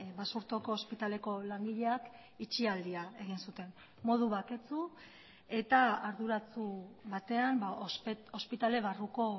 basurtoko ospitaleko langileak itxialdia egin zuten modu baketsu eta arduratsu batean ospitale barruko